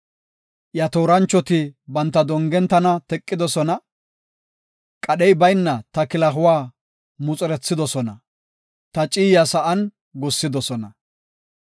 Iya tooranchoti banta dongen tana teqidosona; qadhey bayna ta kilahuwa muxerethidosona; ta ciyaa sa7an gussidosona.